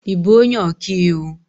Ị bụ onye ọka iwu?